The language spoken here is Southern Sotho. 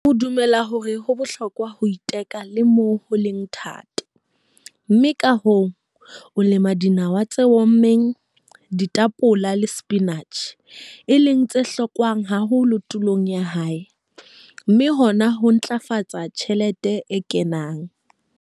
O dumela hore ho bohlokwa ho iteka le moo ho leng thata, mme ka hoo, o lema dinawa tse ommeng, ditapole le sepinatjhe, e leng tse hlokwang haholo tulong ya hae, mme hona ho ntlafatsa tjhelete e kenang.